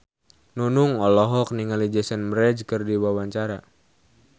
Nunung olohok ningali Jason Mraz keur diwawancara